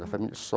Da família